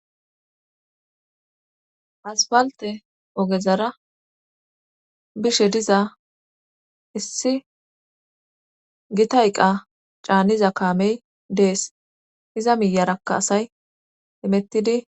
aspalte ogezara bishe diza issi gitayqa caaniza kaamey dees iza miyarakka asay imettidi